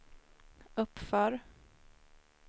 uppför